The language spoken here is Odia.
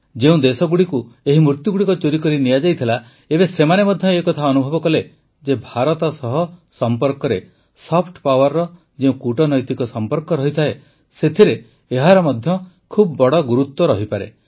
ଯେଉଁ ଦେଶଗୁଡ଼ିକରେ ଏହି ମୂର୍ତ୍ତିଗୁଡ଼ିକ ଚୋରିକରି ନିଆଯାଇଥିଲା ଏବେ ସେମାନେ ମଧ୍ୟ ଏକଥା ଅନୁଭବ କଲେ ଯେ ଭାରତ ସହ ସମ୍ପର୍କରେ ସଫ୍ଟ ପାୱାରର ଯେଉଁ କୂଟନୈତିକ ସମ୍ପର୍କ ରହିଥାଏ ସେଥିରେ ଏହାର ମଧ୍ୟ ବହୁତ ବଡ଼ ଗୁରୁତ୍ୱ ହୋଇପାରେ